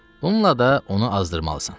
Bununla da onu azdırmalısan.